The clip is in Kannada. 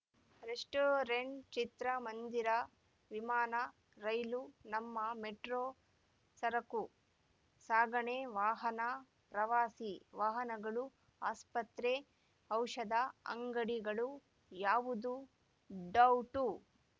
ರೆಸ್ಟೋರೆಂಟ್‌ ಚಿತ್ರ ಮಂದಿರ ವಿಮಾನ ರೈಲು ನಮ್ಮ ಮೆಟ್ರೋ ಸರಕು ಸಾಗಣೆ ವಾಹನ ಪ್ರವಾಸಿ ವಾಹನಗಳು ಆಸ್ಪತ್ರೆ ಔಷಧ ಅಂಗಡಿಗಳು ಯಾವುದು ಡೌಟು